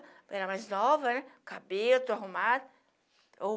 Era mais nova, né, cabelo tudo arrumado.